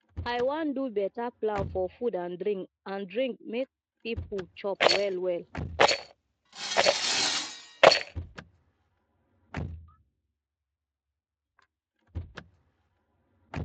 i wan do beta plan for food and drink and drink make pipo chop wellwell